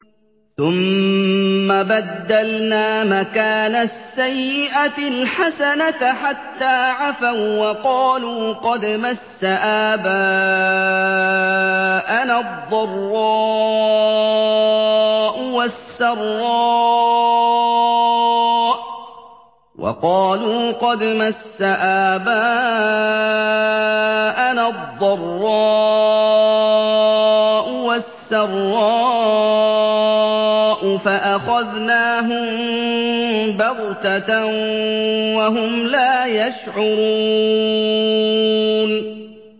ثُمَّ بَدَّلْنَا مَكَانَ السَّيِّئَةِ الْحَسَنَةَ حَتَّىٰ عَفَوا وَّقَالُوا قَدْ مَسَّ آبَاءَنَا الضَّرَّاءُ وَالسَّرَّاءُ فَأَخَذْنَاهُم بَغْتَةً وَهُمْ لَا يَشْعُرُونَ